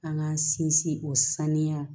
An k'an sinsin o saniya